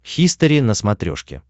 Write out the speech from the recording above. хистори на смотрешке